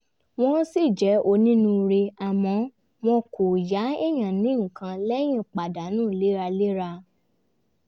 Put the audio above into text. wọ́n ṣì jẹ́ onínúure àmọ́ wọ́n kò yá èèyàn ní nǹkan lẹ́yìn pàdánù léraléra